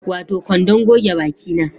Wato kwandon goge baki na